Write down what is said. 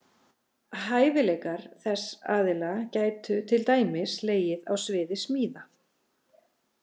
Hæfileikar þess aðila gætu til dæmis legið á sviði smíða.